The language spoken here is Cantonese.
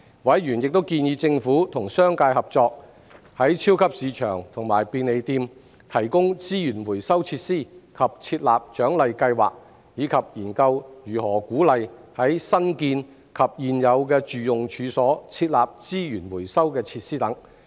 委員亦建議政府與商界合作，在超級市場和便利店提供資源回收設施及設立獎勵計劃，以及研究如何鼓勵在新建及現有住用處所設立資源回收設施等。